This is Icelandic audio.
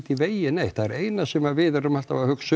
í vegi neitt það eina sem við erum alltaf að hugsa